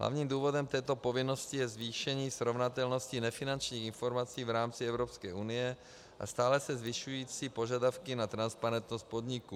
Hlavním důvodem této povinnosti je zvýšení srovnatelnosti nefinančních informací v rámci Evropské unie a stále se zvyšující požadavky na transparentnost podniků.